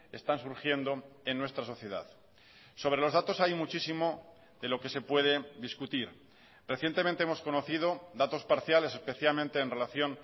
están surgiendo en nuestra sociedad sobre los datos hay muchísimo de lo que se puede discutir recientemente hemos conocido datos parciales especialmente en relación